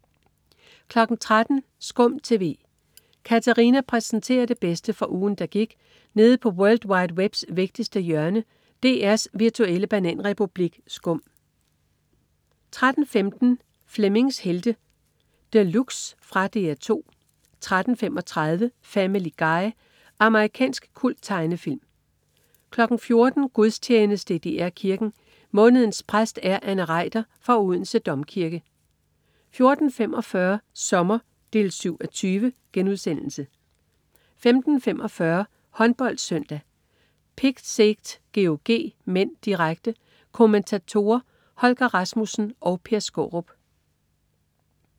13.00 SKUM TV. Katarina præsenterer det bedste fra ugen, der gik nede på world wide webs vigtigste hjørne, DR's virtuelle bananrepublik SKUM 13.15 Flemmings Helte De Luxe. Fra DR 2 13.35 Family Guy. Amerikansk kulttegnefilm 14.00 Gudstjeneste i DR Kirken. Månedens præst er Anne Reiter fra Odense Domkirke 14.45 Sommer 7:20* 15.45 HåndboldSøndag: Pick Szeged-GOG (m), direkte Kommentatorer: Holger Rasmussen og Per Skaarup